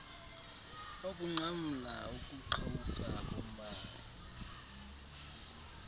ukunqamla ukuqhawuka kombane